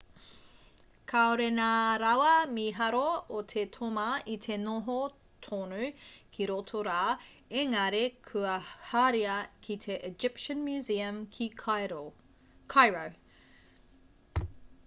kāore ngā rawa mīharo o te toma i te noho tonu ki roto rā engari kua haria ki te egyptian museum ki cairo